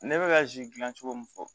Ne bɛ ka zi gilan cogo min fɔ